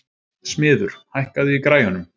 Smiður, hækkaðu í græjunum.